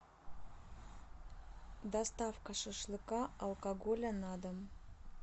доставка шашлыка алкоголя на дом